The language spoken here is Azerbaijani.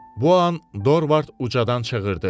Bu an Dorvard ucadan çığırdı.